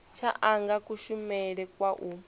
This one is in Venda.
tsha anga kushumele kwa u